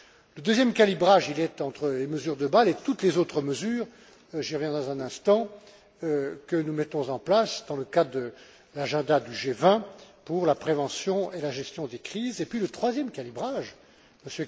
Le deuxième calibrage est entre les mesures de Bâle et toutes les autres mesures j'y reviens dans un instant que nous mettons en place dans le cadre de l'agenda du G20 pour la prévention et la gestion des crises. Enfin, le troisième calibrage que M.